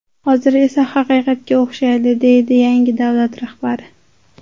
Hozir esa haqiqatga o‘xshaydi”, deydi yangi davlat rahbari.